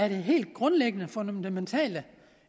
helt grundlæggende fundamentale